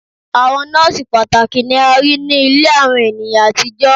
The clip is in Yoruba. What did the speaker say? Awọn nọọsi pataki ni a rii ni ile awọn eniyan atijọ